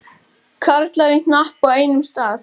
Karlar í hnapp á einum stað.